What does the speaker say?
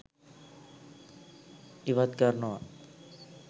ඉවත් කරනවා.